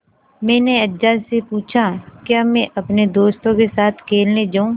मैंने अज्जा से पूछा क्या मैं अपने दोस्तों के साथ खेलने जाऊँ